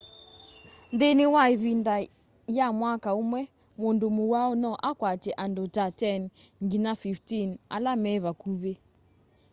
nthini wa ivinda ya mwaka umwe mundu muwau no akwatye andu ta 10 nginya 15 ala me vakuvi